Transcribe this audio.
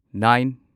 nine